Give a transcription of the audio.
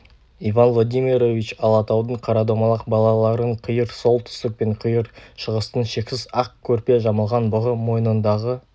иван владимирович алатаудың қарадомалақ балаларын қиыр солтүстік пен қиыр шығыстың шексіз ақ көрпе жамылған бұғы мойнындағы